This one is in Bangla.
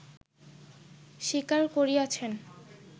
স্বীকার করিয়াছেন